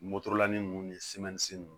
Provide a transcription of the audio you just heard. nunnu ni nunnu